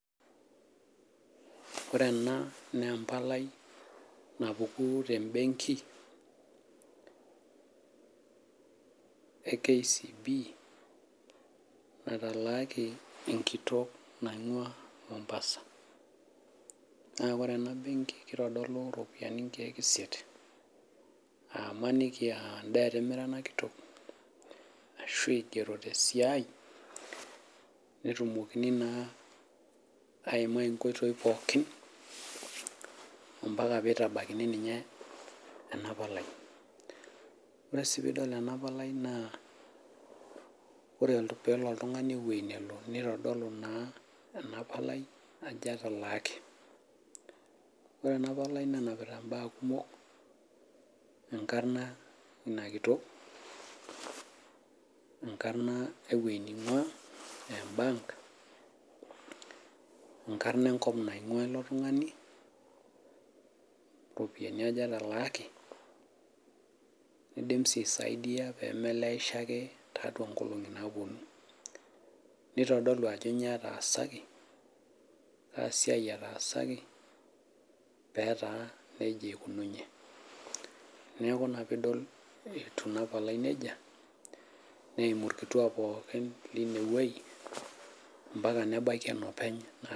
Wore ena naa empalai napuku tembenki e KCB, natalaaki enkitok naingua Mombasa. Naa wore ena benki, kitodolu iropiyani inkiek isiet, aa imaniki aa endaa etimira ena kitok, ashu igiero tesiai, netumokini naa, aimaa inkoitoi pookin ambaka nitabaikini ninye ena palai. Wore si piidol enapalai naa, wore peelo oltungani ewueji nelo nitodolu naa ena palai ajo etalaaki. Wore ena palai nenapita imbaa kumok, enkarna inia kitok, enkarna ewoji ningua aa e bank, enkarna enkop naingua ilo tungani, iropiyani aja etalaaki, niidim sii aisaidia pee melejisho ake tiatua inkolongi naaponu. Nitodolu ajo inyoo etaasaki, aasiai etaasaki, peetaa nejia ikununye. Neeku inia piidol etiu inia palai nejia, neimu irkituak pookin leinie woji, ambaka nebaiki enopeny.